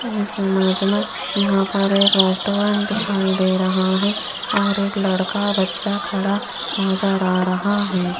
इस इमेज में यहां पर एक रेस्टोरेंट दिखाई दे रहा है और एक लड़का बच्चा खड़ा नजर आ रहा है।